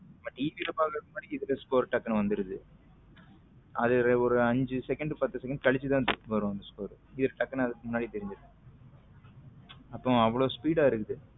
But TV ல பாக்குறதுக்கு முன்னாடி இதுல score டக்குனு வந்துடுது அது ஒரு அஞ்சு second பத்து second கழிச்சு தான் வரும் அந்த score இதுல டக்குனு தெரிஞ்சிருத அப்ப அவ்வளவு speed ஆ இருக்குது.